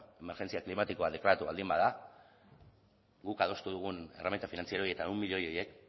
bueno emergentzia klimatikoa deklaratu baldin bada guk adostu dugun erreminta finantziero hori eta ehun milioi horiek